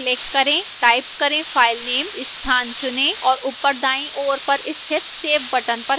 type करें filename स्थान चुनें और ऊपर दाईं ओर पर स्थित save button पर click करें